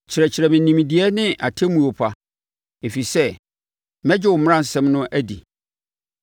Kyerɛkyerɛ me nimdeɛ ne atemmuo pa, ɛfiri sɛ megye wo mmaransɛm no di.